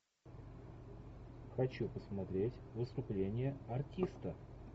хочу посмотреть выступление артиста